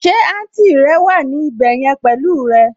Ṣé àǹtì rẹ wà ní ibẹ̀ yẹn pẹ̀lú ẹ?